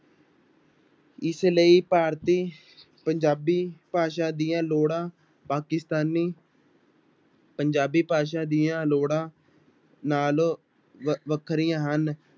ਇਸ ਲਈ ਭਾਰਤੀ ਪੰਜਾਬੀ ਭਾਸ਼ਾ ਦੀਆਂ ਲੋੜ੍ਹਾਂ ਪਾਕਿਸਤਾਨੀ ਪੰਜਾਬੀ ਭਾਸ਼ਾ ਦੀਆਂ ਲੋੜਾਂ ਨਾਲੋਂ ਵ ਵੱਖਰੀਆਂ ਹਨ